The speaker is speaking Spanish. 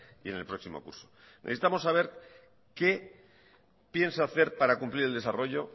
y en el próximo curso necesitamos saber qué piensa hacer para cumplir el desarrollo